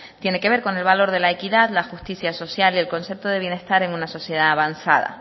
tiene que ver con el valor de la equidad la justicia social y el concepto de bienestar en una sociedad avanzada